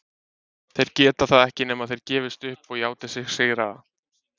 Þeir geta það ekki nema þeir gefist upp og játi sig sigraða.